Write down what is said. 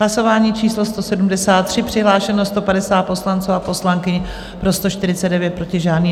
Hlasování číslo 173, přihlášeno 150 poslanců a poslankyň, pro 149, proti žádný.